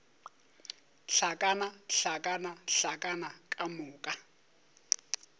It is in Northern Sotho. hlakana hlakana hlakana ka moka